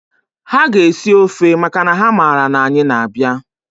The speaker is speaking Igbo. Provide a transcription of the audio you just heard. Ha ga-esi ọfe makana ha mara na anyị na-abịa.